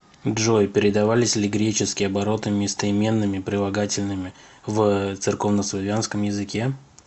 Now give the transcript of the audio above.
джой передавались ли греческие обороты местоименными прилагательными в церковнославянском языке